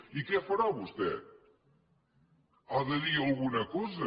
i què farà vostè ha de dir alguna cosa